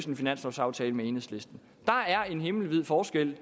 en finanslovaftale med enhedslisten der er en himmelvid forskel